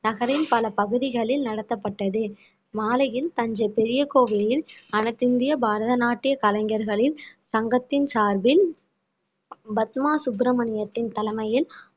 நகரின் பல பகுதிகளில் நடத்தப்பட்டது மாலையில் தஞ்சை பெரிய கோவிலில் அனைத்திந்திய பரதநாட்டிய கலைஞர்களின் சங்கத்தின் சார்பில் பத்மா சுப்பிரமணியத்தின் தலைமையில்